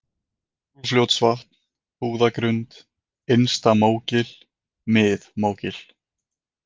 Úlfljótsvatnsfjall, Búðagrund, Innsta-Mógil, Mið-Mógil